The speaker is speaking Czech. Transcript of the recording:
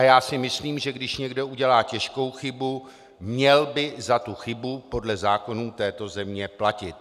A já si myslím, že když někdo udělá těžkou chybu, měl by za tu chybu podle zákonů této země platit.